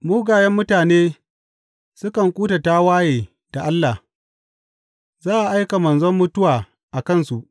Mugayen mutane sukan kuta tawaye da Allah; za a aika manzo mutuwa a kansu.